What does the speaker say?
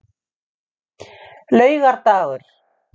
laugardagur